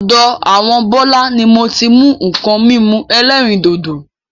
Ọ̀dọ àwọn Bọlá ni moti mú nkan mímu ẹlẹ́rìndòdò.